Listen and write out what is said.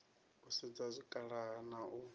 u sedza zwikhala na u